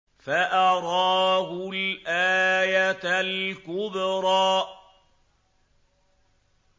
فَأَرَاهُ الْآيَةَ الْكُبْرَىٰ